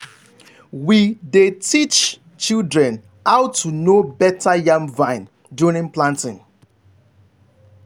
we dey teach children how to know better yam vine during planting.